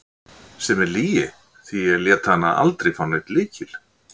Sem er lygi, því ég lét hana aldrei fá neinn lykil.